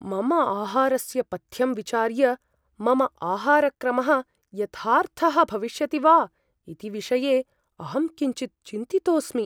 मम आहारस्य पथ्यं विचार्य, मम आहारक्रमः यथार्थः भविष्यति वा इति विषये अहं किञ्चित् चिन्तितोस्मि ।